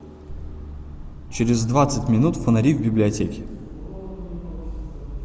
через двадцать минут фонари в библиотеке